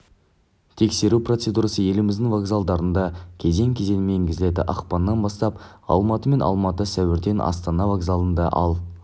тексеру процедурасы еліміздің вокзалдарында кезең кезеңмен енгізіледі ақпаннан бастап алматы мен алматы сәуірде астана вокзалында ал